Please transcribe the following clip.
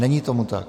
Není tomu tak.